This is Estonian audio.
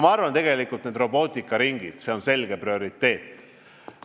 Ma arvan, et ka robootikaringid on prioriteet.